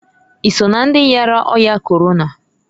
I so na ndị yara ọya Korona?